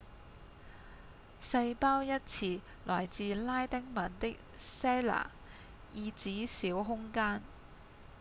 細胞一詞來自拉丁文的 cella 意指小空間